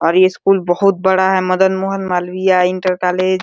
और ये स्कूल बहुत बड़ा है। Madan Mohan Malviya inter college --